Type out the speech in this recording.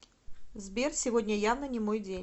сбер сегодня явно не мой день